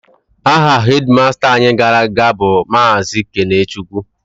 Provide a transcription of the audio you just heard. Aha hedịmasta anyị gara aga bụ Maazị Kenechukwu